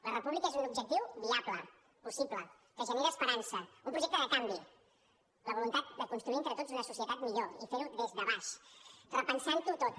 la república és un objectiu viable possible que genera esperança un projecte de canvi la voluntat de construir entre tots una societat millor i fer ho des de baix repensant ho tot